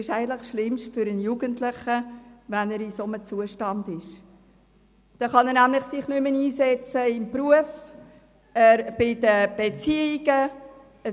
Wenn er in einem solchen Zustand ist, kann er sich im Beruf oder in der Beziehung nicht mehr einsetzen.